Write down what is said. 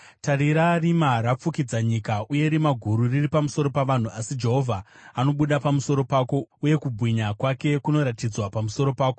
Tarira, rima rakafukidza nyika uye rima guru riri pamusoro pavanhu, asi Jehovha anobuda pamusoro pako uye kubwinya kwake kunoratidzwa pamusoro pako.